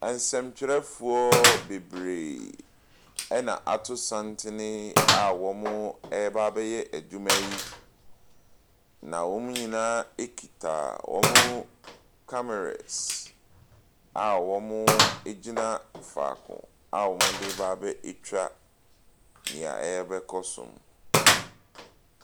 Nsɛmktwerɛfoɔ bebree ɛna ato santene a wɔreba abɛyɛ adwuma yi. Na wɔn nyinaa kita wɔn kamaras a wɔgyina faako a wɔde reba abɛtwa nea ɛrebɛkɔ so no.